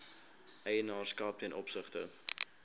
eienaarskap ten opsigte